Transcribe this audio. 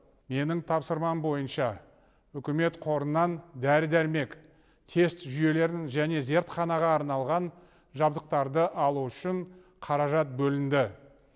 менің тапсырмам бойынша үкімет қорынан дәрі дәрмек тест жүйелерін және зертханаға арналған жабдықтарды алу үшін қаражат бөлінді